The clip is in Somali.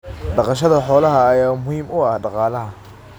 Dhaqashada xoolaha ayaa muhiim u ah dhaqaalaha.